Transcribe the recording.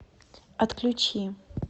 отключи